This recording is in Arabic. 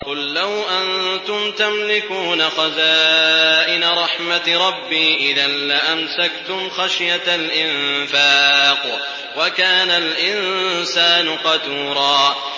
قُل لَّوْ أَنتُمْ تَمْلِكُونَ خَزَائِنَ رَحْمَةِ رَبِّي إِذًا لَّأَمْسَكْتُمْ خَشْيَةَ الْإِنفَاقِ ۚ وَكَانَ الْإِنسَانُ قَتُورًا